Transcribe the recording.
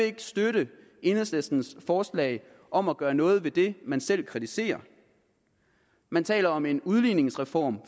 ikke støtte enhedslistens forslag om at gøre noget ved det man selv kritiserer man taler om en udligningsreform